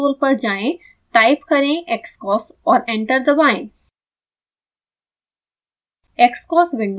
scilab console पर जाएँ type करें xcos और एंटर दबाएँ